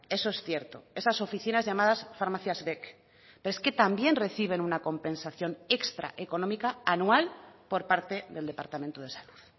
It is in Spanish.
eso es cierto esas oficinas llamadas farmacias vec pero es que también reciben una compensación extraeconómica anual por parte del departamento de salud